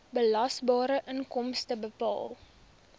belasbare inkomste bepaal